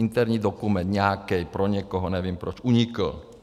Interní dokument, nějaký, pro někoho, nevím, proč unikl.